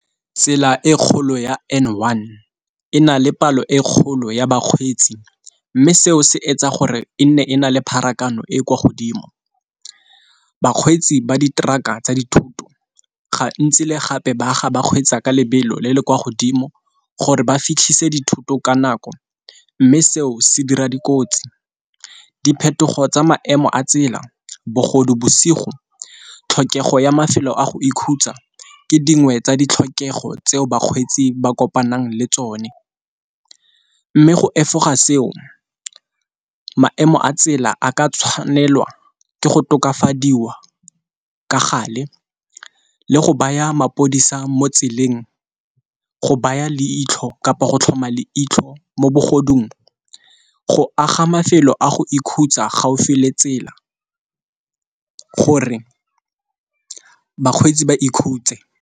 Tsela e kgolo ya N one e na le palo e kgolo ya bakgweetsi, mme seo se etsa gore e nne e na le pharakano e e kwa godimo. Bakgweetsi ba di-truck-a tsa dithoto ga ntsi le gape ba aga ba kgweetsa ka lebelo le le kwa godimo gore ba fitlhisa dithoto ka nako. Mme seo se dira dikotsi diphetogo tsa maemo a tsela bogodu bosigo tlhokego ya mafelo a go ikhutsa ke dingwe tsa ditlhokego tseo bakgweetsi ba kopanang le tsone, mme go efoga seo maemo a tsela a ka tshwanelwa ke go tokafadiwa ka gale le go baya mapodisa mo tseleng go baya leitlho kapa go tlhoma le itlho mo bogodimong go aga mafelo a go ikhutsa gaufi le tsela gore bakgweetsi ba ikhutse.